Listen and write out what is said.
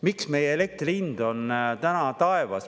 Miks meie elektri hind on täna taevas?